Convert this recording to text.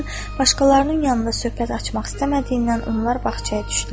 Fəxrəddin başqalarının yanında söhbət açmaq istəmədiyindən onlar bağçaya düşdülər.